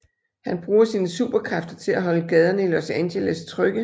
Han bruger sine superkræfter til at holde gaderne i Los Angeles trygge